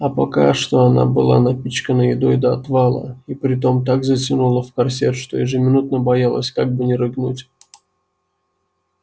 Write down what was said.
а пока что она была напичкана едой до отвала и притом так затянута в корсет что ежеминутно боялась как бы не рыгнуть